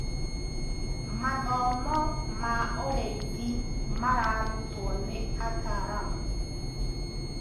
Mathomo ma ũrĩithi mararutwo nĩ ataramu.